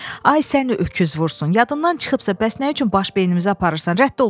Ay səni öküz vursun, yadımdan çıxıbsa bəs nə üçün baş beynimizə aparırsan, rədd ol burdan.